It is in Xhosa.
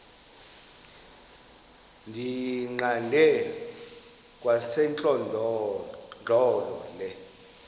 ndiyiqande kwasentlandlolo le